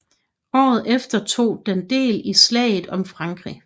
Året efter tog den del i slaget om Frankrig